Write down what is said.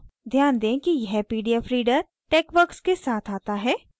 ध्यान दें कि यह pdf reader texworks के साथ आता है